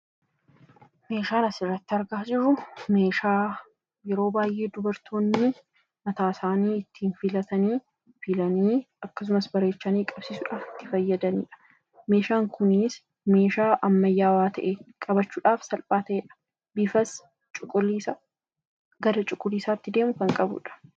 Suuraa kanaa gadii irratti kan argamu Kun yeroo baayyee kan shamarran mataa isaanii ittiin filatanii dha. Meeshaan Kunis meeshaa ammayyawwaa ta'ee fi bifti isaas gara cuquliisaatti kan dhiyaatuu dha.